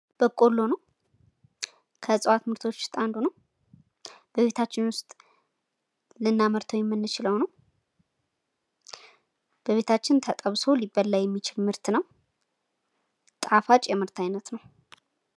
በቆሎ ነው ከእጽውት ምርቶች ውስጥ አንዱ ነው። በቤታችን ውስጥ ላናመርተው የምንችለው ነው። በቤታችን ተጠብሶ ሊበላ የሚችል ምርት ነው። ጣፋጭ የምርት አይነት ነው።